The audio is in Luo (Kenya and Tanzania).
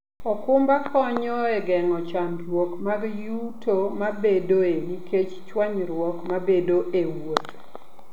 okumba konyo e geng'o chandruok mag yuto mabedoe nikech chwanyruok mabedoe e wuoth.